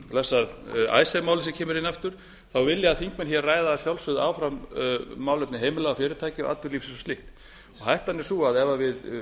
blessað icesave málið sem kemur hér aftur þá vil ég að þingmenn ræði að sjálfsögðu áfram málefni heimila og fyrirtækja og atvinnulífs og slíkt hættan er sú að ef við